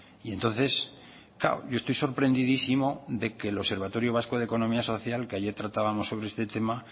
y entonces claro yo estoy sorprendidísimo de que el observatorio vasco de economía social que ayer tratábamos sobre este tema